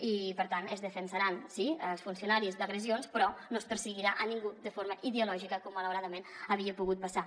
i per tant es defensaran sí els funcionaris d’agressions però no es perseguirà ningú de forma ideològica com malauradament havia pogut passar